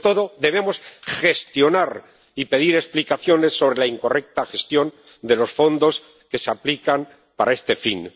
Sobre todo, debemos gestionar y pedir explicaciones sobre la incorrecta gestión de los fondos que se aplican para este fin.